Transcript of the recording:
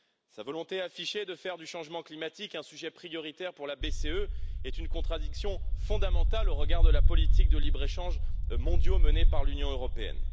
Sa volonté affichée de faire du changement climatique un sujet prioritaire pour la BCE est une contradiction fondamentale au regard de la politique de libre échange mondial menée par l'Union européenne.